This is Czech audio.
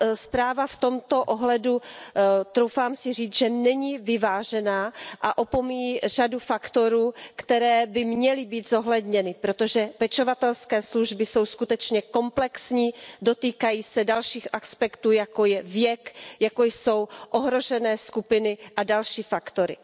Zpráva v tomto ohledu, troufám si říci, není vyvážená a opomíjí řadu faktorů, které by měly být zohledněny, protože pečovatelské služby jsou skutečně komplexní, dotýkají se dalších aspektů, jako je věk, jako jsou ohrožené skupiny a další faktory.